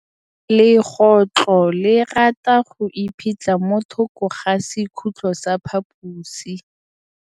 Legôtlô le rata go iphitlha mo thokô ga sekhutlo sa phaposi.